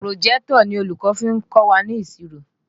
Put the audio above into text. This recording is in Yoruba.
Pùròjẹ́tọ̀ ni olùkọ́ fi kọ́ wa ní ìṣirò